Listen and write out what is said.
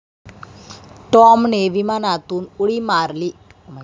टॉमने विमानातून उडी मारली.